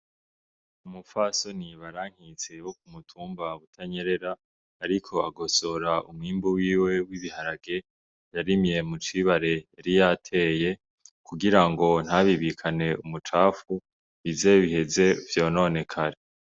Umufasoni barankitse wo ku mutumba butanyerera, ariko agosora umwimbu wiwe w'ibiharage yarimye mucibare yari yateye kugira ngo ntabibikane umucafu bizebiheze vyononekare.